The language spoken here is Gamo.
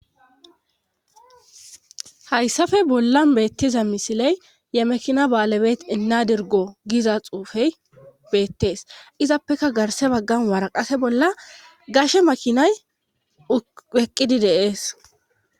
hayssafe bollan beettiza misiley yemekina ba7alebe ina dirgo giiza xuufey beettees izappeka garse baggan waraqase bolla gashe makinay eqqidi deees